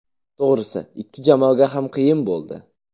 To‘g‘risi, ikki jamoaga ham qiyin bo‘ldi.